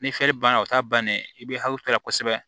Ni banna o t'a bannen ye i bɛ hakili to a la kosɛbɛ